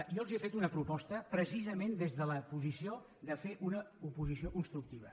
jo els he fet una proposta precisament des de la posició de fer una oposició constructiva